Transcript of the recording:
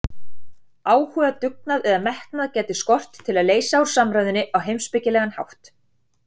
Áhuga, dugnað eða metnað gæti skort til að leysa úr samræðunni á heimspekilegan hátt.